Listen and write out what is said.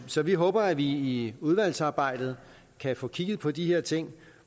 så vi håber at vi i udvalgsarbejdet kan få kigget på de her ting og